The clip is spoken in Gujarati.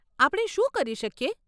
આપણે શું કરી શકીએ?